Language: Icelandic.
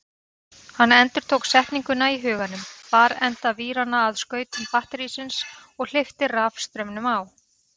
Hann endurtók setninguna í huganum, bar enda víranna að skautum batterísins og hleypti rafstraumnum á.